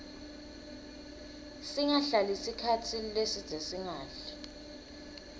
singahlali sikhatsi lesidze singadli